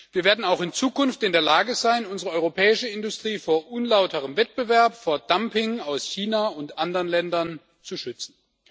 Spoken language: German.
Wir werden auch in Zukunft in der Lage sein, unsere europäische Industrie vor unlauterem Wettbewerb, vor Dumping aus China und anderen Ländern zu schützen.